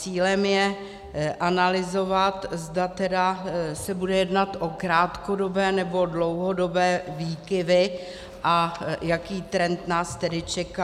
Cílem je analyzovat, zda tedy se bude jednat o krátkodobé, nebo dlouhodobé výkyvy a jaký trend nás tedy čeká.